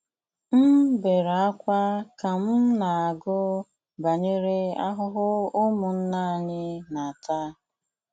M bere ákwá ka m na-agụ banyere ahụhụ ụmụnna anyị na-ata.